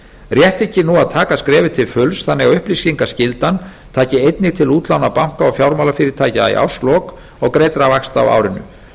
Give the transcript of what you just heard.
rétt þykir nú að taka skrefið til fulls þannig að upplýsingaskyldan taki einnig til útlána banka og fjármálafyrirtækja í árslok og greiddra vaxta á árinu